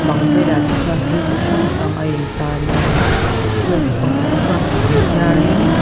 bang velah te chuan thil chi hrang hrang ain tar mawi a ni hmeichhia pakhat chuan a sam phiar in--